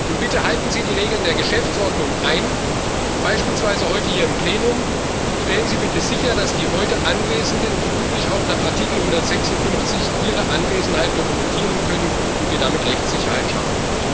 Und bitte halten Sie die Regeln der Geschäftsordnung ein, beispielsweise heute hier im Plenum, stellen Sie bitte sicher, dass die heute Anwesenden wie üblich auch nach Artikel 156 ihre Anwesenheit dokumentieren können und wir damit Rechtssicherheit schaffen.